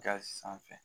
Gasi sanfɛ